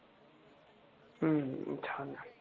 हम्म छान ए